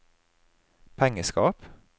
pengeskap